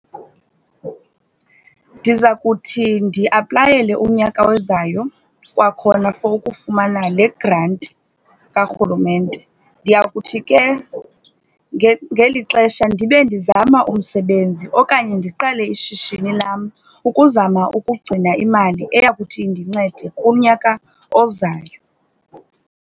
Ndiza kuthi ndiaplayele unyaka ozayo kwakhona for ukufumana le granti karhulumente. Ndiya kuthi ke ngeli xesha ndibe ndizama umsebenzi okanye ndiqale ishishini lam ukuzama ukugcina imali eya kuthi indincede kunyaka ozayo.